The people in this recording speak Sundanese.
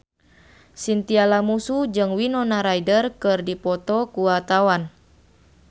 Chintya Lamusu jeung Winona Ryder keur dipoto ku wartawan